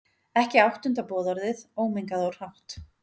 Ekki áttunda boðorðið, ómengað og hrátt.